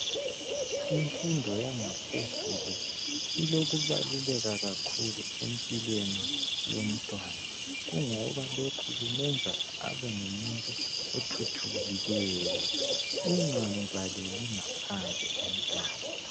Imfundo yangaphezulu ilokubaluleka kakhulu empilweni yomntwana kungoba lokhu kumenza abe ngumuntu othuthukileyo, ungamvaleli ngaphandle umntwana.